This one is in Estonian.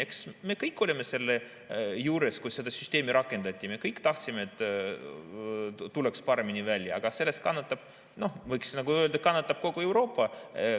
Eks me kõik olime selle juures, kui seda süsteemi rakendati, me kõik tahtsime, et tuleks paremini välja, aga sellest kannatab, noh, võiks öelda, kogu Euroopa.